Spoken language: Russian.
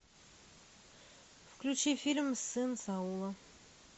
включи фильм сын саула